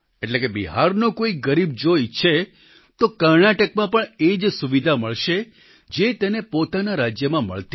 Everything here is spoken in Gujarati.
એટલે કે બિહારનો કોઈ ગરીબ જો ઈચ્છે તો કર્ણાટકમાં પણ એ જ સુવિધા મળશે જે તેને પોતાના રાજ્યમાં મળતી